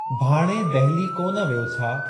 भाण्हें दहलीअ कोन वियो छा ?